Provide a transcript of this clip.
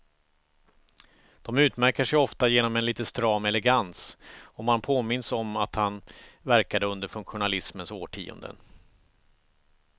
De utmärker sig ofta genom en lite stram elegans, och man påminns om att han verkade under funktionalismens årtionden.